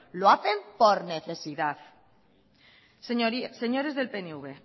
lo hacen por necesidad señores del pnv